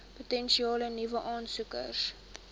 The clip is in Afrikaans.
potensiële nuwe aansoekers